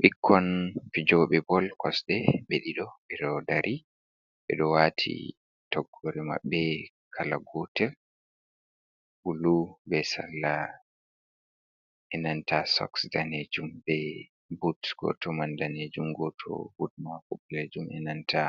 Ɓikkon fijooɓe bol kosɗe ɓe ɗiɗo, ɓe ɗo dari, ɓe ɗo waati toggoore maɓɓe kala gootel, bulu be sarla e nanta soks daneejum, be but gooto man daneejum, gooto but maako ɓaleejum e nanta